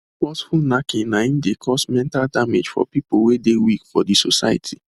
forceful knacking na im de cause mental damage for people wey de weak for the society